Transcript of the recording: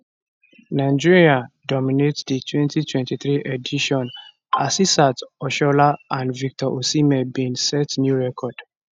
nigeria dominate di 2023 edition asisat oshoala and victor osimhen bin set new record